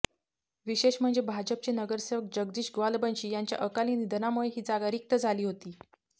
विशेष म्हणजे भाजपचे नगरसेवक जगदीश ग्वालबंशी यांच्या अकाली निधनामुळे ही जागा रिक्त झाली होती